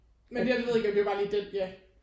Men det her det ved jeg ikke det var bare lige den ja